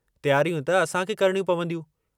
तयारियूं त असांखे करणियूं पवंदियूं।